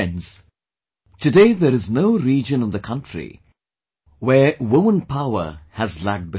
Friends, today there is no region in the country where the woman power has lagged behind